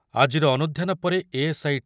ଆଜିର ଅନୁଧ୍ୟାନ ପରେ ଏ ଏସ୍ ଆଇ